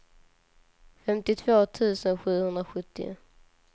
femtiotvå tusen sjuhundrasjuttio